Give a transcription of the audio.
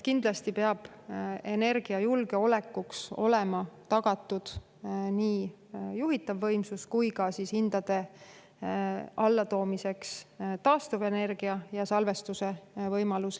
Kindlasti peab energiajulgeolekuks olema tagatud nii juhitav võimsus kui ka taastuvenergia salvestamise võimalus hindade allatoomiseks.